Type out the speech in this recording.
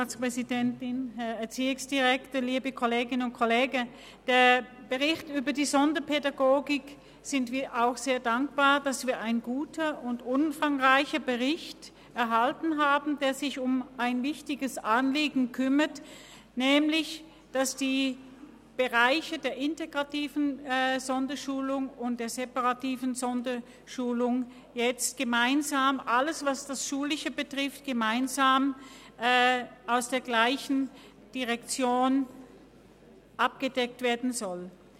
Auch wir sind sehr dankbar, dass wir einen guten und umfangreichen Bericht über die Sonderpädagogik erhalten haben, der sich um ein wichtiges Anliegen kümmert, nämlich darum, dass in den Bereichen der integrativen Sonderschulung und der separativen Sonderschulung alles, was das Schulische betrifft, gemeinsam aus der gleichen Direktion abgedeckt werden soll.